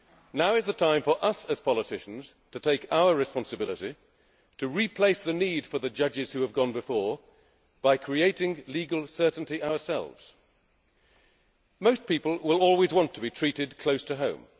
Now is the time for us, as politicians, to take our responsibility and to replace the need for the judges who have gone before, by creating legal certainty ourselves. Most people will always want to be treated close to